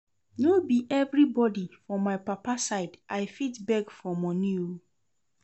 No be every body for my papa side I fit beg for money oo